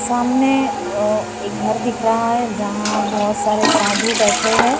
सामने अ एक घर दिख रहा है जहाँ बहोत सारे साधु बैठे हैं।